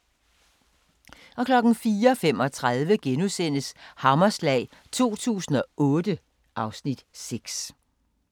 04:35: Hammerslag 2008 (Afs. 6)*